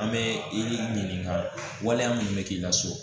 An bɛ i ɲininka waleya minnu bɛ k'i ka so